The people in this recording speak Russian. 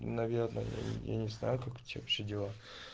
наверное я не знаю как у тебя вообще дела